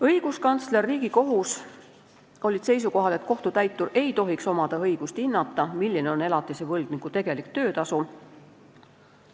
Õiguskantsler ja Riigikohus olid seisukohal, et kohtutäituril ei tohiks olla õigust hinnata, milline on elatise võlgniku tegelik töötasu.